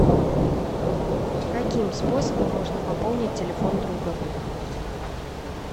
каким способом можно пополнить телефон друга